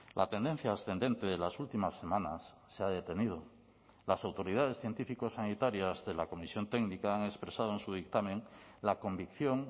la tendencia ascendente de las últimas semanas se ha detenido las autoridades científicosanitarias de la comisión técnica han expresado en su dictamen la convicción